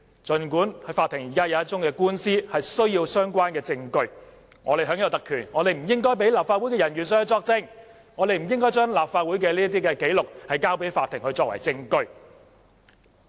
儘管法庭現時有一宗官司需要相關證據，但我們享有特權，所以我們不應該讓立法會人員作證，不應該將立法會紀錄交給法庭作為證據。